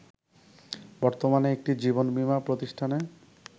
বর্তমানে একটি জীবনবীমা প্রতিষ্ঠানে